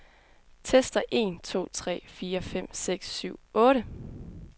Tester en to tre fire fem seks syv otte.